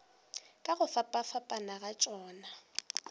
ka go fapafapana ga tšona